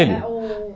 Ele? ú